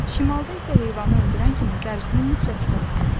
Şimalda isə heyvanı öldürən kimi dərisini mütləq soymalısan.